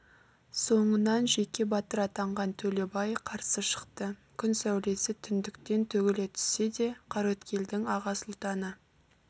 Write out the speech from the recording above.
соңынан жеке батыр атанған төлебай қарсы шықты күн сәулесі түндіктен төгіле түссе де қараөткелдің аға сұлтаны